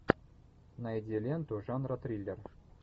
найди ленту жанра триллер